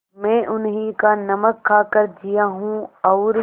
मैं उन्हीं का नमक खाकर जिया हूँ और